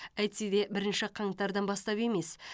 әйтсе де бірінші қаңтардан бастап емес